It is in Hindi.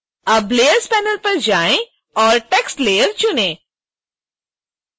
अब layers पैनल पर जाएं और text layer चुनें